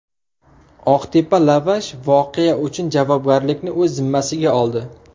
Oqtepa Lavash voqea uchun javobgarlikni o‘z zimmasiga oldi.